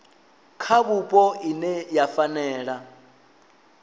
kha vhupo ine ya fanela